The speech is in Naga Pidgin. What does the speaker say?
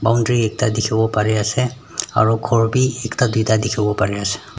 Boundary ekta dekhevo parey ase aro ghor bhi ekta duida dekhivo parey ase.